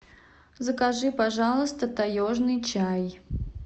закажи пожалуйста таежный чай